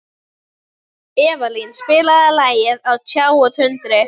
Evían, spilaðu lagið „Á tjá og tundri“.